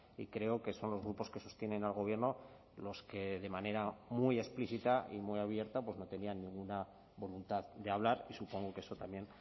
y creo que son los grupos que sostienen al gobierno los que de manera muy explícita y muy abierta no tenían ninguna voluntad de hablar y supongo que eso también